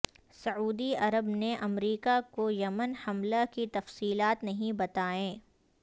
سعودی Arab نے امریکہ کو یمن حملہ کی تفصیلات نہیں بتائیں